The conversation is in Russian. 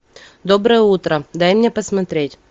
доброе утро дай мне посмотреть